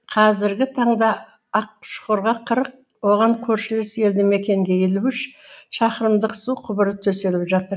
қазіргі таңда ақшұқырға қырық оған көршілес елді мекенге елу үш шақырымдық су құбыры төселіп жатыр